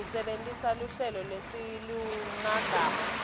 kusebentisa luhlelo nesilulumagama